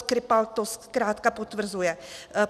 Skripal to zkrátka potvrzuje.